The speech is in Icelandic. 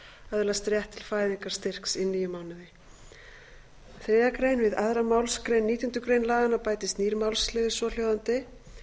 öðlast rétt til fæðingarstyrks í níu mánuði þriðju grein við aðra málsgrein nítjánda grein laganna bætist nýr málsliður svohljóðandi